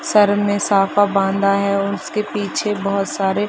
sir ने साफा बांधा हैं और उसके पीछे बोहोत सारे --